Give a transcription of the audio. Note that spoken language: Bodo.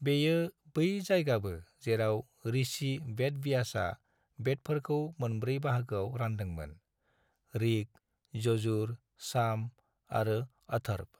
बेयो बै जायगाबो जेराव ऋषि वेदव्यासआ वेदफोरखौ मोनब्रै बाहागोआव रानदोंमोन - ऋक्, यजुर, साम आरो अथर्व।